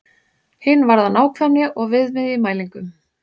Hin varðar nákvæmni og viðmið í mælingum.